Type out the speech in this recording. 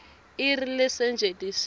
i r lesetjentisiwe